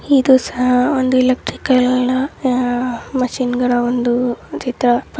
ಇದು ಸಾ-ಒಂದು ಎಲೆಕ್ಟ್ರಿಕಲ್ ನ ಮಷೀನ್ ಗಳ ಒಂದು ಚಿತ್ರ.